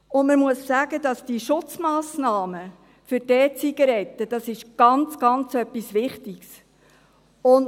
Man muss sagen, dass diese Schutzmassnahmen bei den E-Zigaretten etwas äusserst Wichtiges sind.